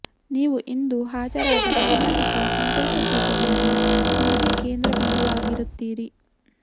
ನೀವು ಇಂದು ಹಾಜರಾದ ಸಾಮಾಜಿಕ ಸಂತೋಷ ಕೂಟದಲ್ಲಿ ನೀವೇ ಕೇಂದ್ರ ಬಿಂದುವಾಗಿರುತ್ತೀರಿ